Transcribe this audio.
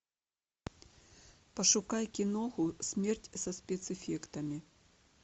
пошукай киноху смерть со спецэффектами